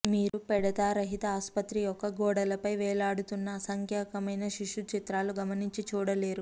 మీరు పెడతారహిత ఆసుపత్రి యొక్క గోడలపై వేలాడుతున్న అసంఖ్యాకమైన శిశు చిత్రాలు గమనించి చూడలేరు